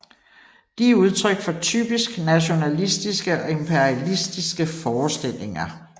De er udtryk for typisk nationalistiske og imperialistiske forestillinger